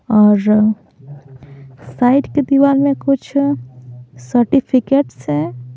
और साइड के दीवार में कुछ सर्टिफिकेट्स हैं।